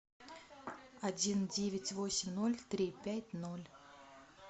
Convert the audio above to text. один девять восемь ноль три пять ноль